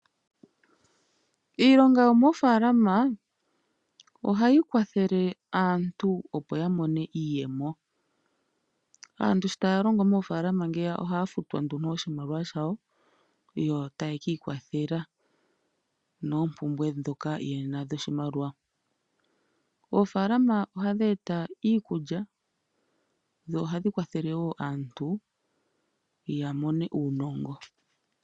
Iilonga yomoofaalama ohayi kwathele aantu opo ya mone iiyemo. Aantu sho taya longo moofaalama ohaya futwa oshimaliwa shawo yo taye ki ikwathela noompumbwe ndhoka ye na dhoshimaliwa. Oofaalama ohadhi eta iikulya dho ohadhi kwathele wo aantu ya mone uunongo.